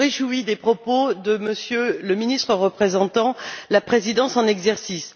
Je me réjouis des propos de M. le ministre représentant la présidence en exercice.